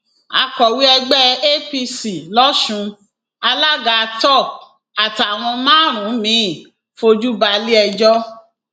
akọwé ẹgbẹ apc lọsùn alága top àtàwọn márùnún miín fojú balẹẹjọ